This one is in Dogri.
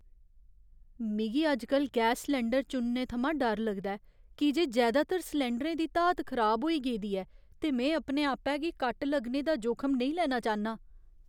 मिगी अजकल गैस सलैंडर चुनने थमां डर लगदा ऐ की जे जैदातर सलैंडरें दी धात खराब होई गेदी ऐ ते में अपने आपै गी कट लाने दा जोखम नेईं लेना चाह्न्नां।